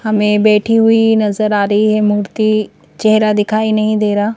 हमें बैठी हुई नजर आ रही है मूर्ति चेहरा दिखाई नहीं दे रहा--